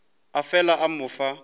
a fela a mo fa